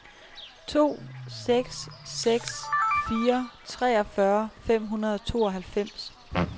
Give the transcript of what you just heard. to seks seks fire treogfyrre fem hundrede og tooghalvfems